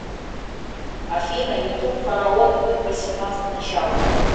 афина ютуб фараон клуб восемнадцать начало